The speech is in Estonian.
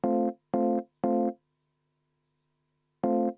Aitäh, hea eesistuja!